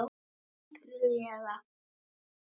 Ótrúleg kona.